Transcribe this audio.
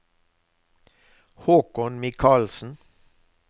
Håkon Michaelsen